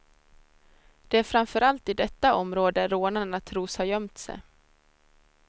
Det är framförallt i detta område rånarna tros ha gömt sig.